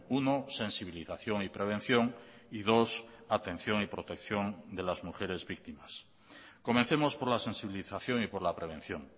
uno sensibilización y prevención y dos atención y protección de las mujeres víctimas comencemos por la sensibilización y por la prevención